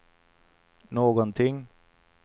någonting